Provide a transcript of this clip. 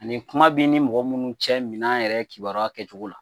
Ani kuma b'i ni mɔgɔ minnu cɛ minɛn yɛrɛ kibaruya kɛcogo la